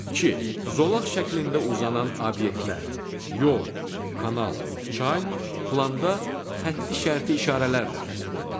İki: Zolaq şəklində uzanan obyektlər — yol, kanal, çay — planda xətti şərti işarələrlə təsvir olunub.